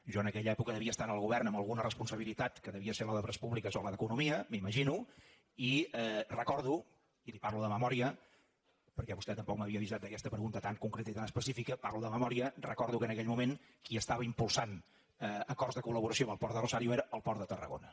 jo en aquella època devia estar al govern amb alguna responsabilitat que devia ser la d’obres públiques o la d’economia m’imagino i recordo i li parlo de memòria perquè vostè tampoc m’havia avisat d’aquesta pregunta tan concreta i tan específica parlo de memòria que en aquell moment qui estava impulsant acords de col·el port de tarragona